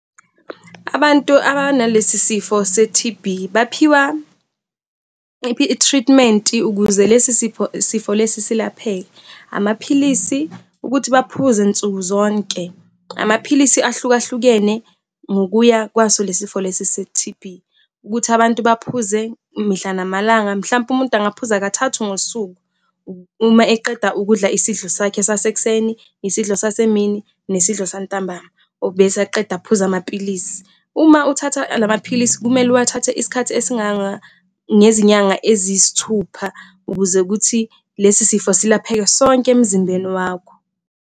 Abantu abanalesi sifo se-T_B, baphiwa i-treatment ukuze lesi sipho sifo lesi silapheke. Amaphilisi ukuthi baphuza nsuku zonke. Amaphilisi ahluka hlukene ngokuya kwaso lesifo lesi se-T_B, ukuthi abantu baphuze mihla namalanga, mhlawumpe umuntu angaphuza kathathu ngosuku uma eqeda ukudla isidlo sakhe sasekuseni, isidlo sasemini, nesidlo santambama, bese aqeda aphuze amapilisi. Uma uthatha la maphilisi kumele uwathathe iskhathi esinganga ngezinyanga eziyisithupha ukuze kuthi lesi sifo silapheke sonke emzimbeni wakho.